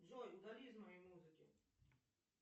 джой удали из моей музыки